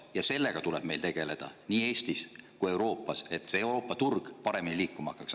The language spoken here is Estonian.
Ja sellega tuleb meil tegeleda nii Eestis kui ka Euroopas, et Euroopa turg paremini liikuma hakkaks.